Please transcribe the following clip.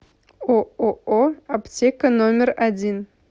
ооо аптека номер один